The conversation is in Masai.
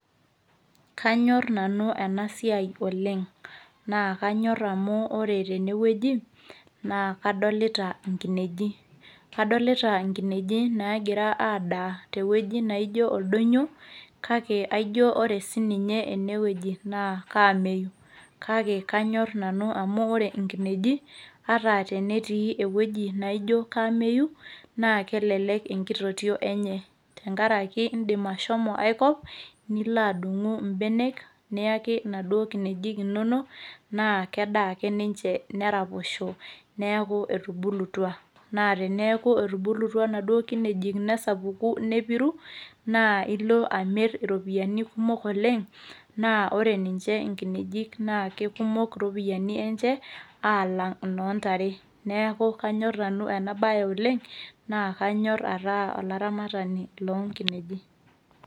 Kanyor nanu enasiai oleng'. Na Kanyor amu ore tenewueji, naa kadolita inkineji. Kadolita inkineji nagira adaa tewueji naijo oldonyo, kake aijo ore sininye enewueji naa kaameyu. Kake kanyor nanu amu ore inkineji, ata tenetii ewueji naijo kaameyu, na kelelek enkitotio enye. Tenkaraki idim ashomo aikop, nilo adung'u ibenek, niaki inaduo kinejik inonok, naa kedaa ake ninche neraposho, neeku etubulutua. Na teneeku etubulutua naduo kinejik nesapuku, nepiru, naa ilo amir iropiyiani kumok oleng',naa ore ninche inkinejik, naa kekumok iropiyiani enche, aalang' inoo ntare. Neeku kanyor nanu enabae oleng', na kanyor ataa olaramatani lonkineji.